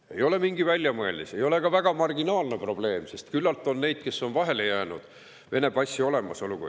See ei ole mingi väljamõeldis ega ole ka väga marginaalne probleem, sest küllalt on neid, kes on vahele jäänud Vene passi olemasoluga.